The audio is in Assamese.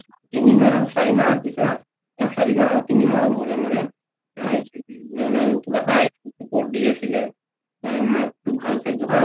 তিনি মাহৰ চাৰি মাহৰ পিছত বা চাৰি মাহৰ তিনি মাহৰ মূৰে মূৰে মাকটোক ভাল খাদ্য